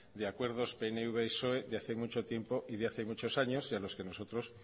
de acuerdos pnv psoe de hace mucho tiempo y de hace muchos años y a los que nosotros